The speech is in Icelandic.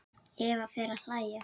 Eva fer að hlæja.